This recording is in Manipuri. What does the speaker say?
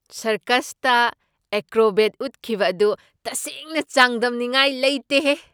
ꯁꯔꯀꯁꯇ ꯑꯦꯀ꯭ꯔꯣꯕꯦꯠ ꯎꯠꯈꯤꯕ ꯑꯗꯨ ꯇꯁꯦꯡꯅ ꯆꯥꯡꯗꯝꯅꯤꯡꯉꯥꯏ ꯂꯩꯇꯦꯍꯦ !